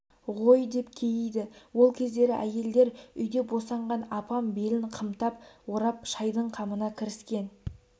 ғой деп кейиді ол кездері әйелдер үйде босанған апам белін қымтап орап шайдың қамына кіріскен